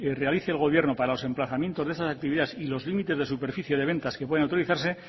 realice el gobierno para los emplazamientos de esas actividades y los límites de superficie de ventas que pueden autorizarse